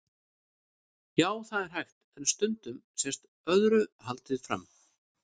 Já, það er hægt, en stundum sést öðru haldið fram.